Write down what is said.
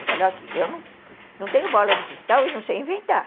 Eu falei, olha aqui, eu não tenho bola de cristal e não sei inventar.